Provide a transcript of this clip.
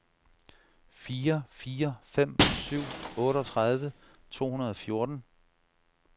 fire fire fem syv otteogtredive to hundrede og fjorten